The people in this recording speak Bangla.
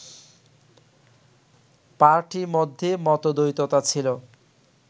পার্টি মধ্যে মতদ্বৈততা ছিল